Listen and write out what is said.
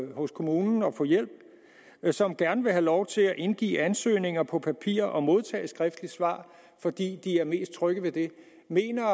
hos kommunen og få hjælp men som gerne vil have lov til at indgive ansøgninger på papir og modtage skriftligt svar fordi de er mest trygge ved det mener